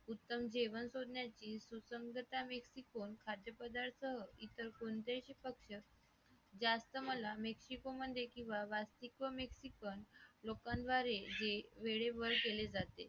उत्तम जेवण करण्याचे सुसंगता vicotone खाद्यपदार्थ इतर कोणतेही जास्त मला wicitomi किंवा व्यासपीठ चिकन लोकां द्वारे जे वेळेवर केले जाते